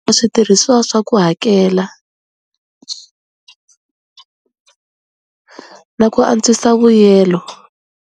Switirhiswa swa ku hakela na ku antswisa vuyelo.